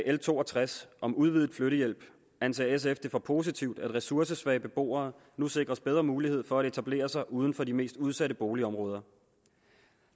l to og tres om udvidet flyttehjælp anser sf det for positivt at ressourcesvage beboere nu sikres bedre mulighed for at etablere sig uden for de mest udsatte boligområder